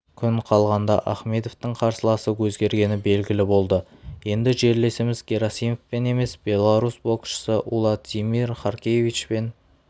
күн қалғанда ахмедовтің қарсыласы өзгергені белгілі болды енді жерлесіміз герасимовпен емес беларусь боксшысы уладзимир харкевичпен